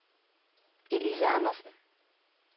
Elise Andersen